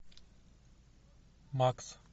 макс